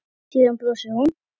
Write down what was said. Síðan brosir hún.